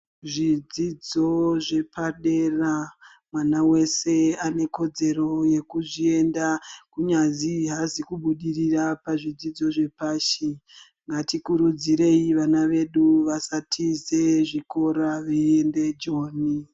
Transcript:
Zvidzidzo zvepadera, mwana wese ane kodzero yekuzvienda. Kunyazi haazi kubudirira pazvidzidzo zvepashi. Ngatikurudzirei vana vedu vasatiza zvikora veiende Joni.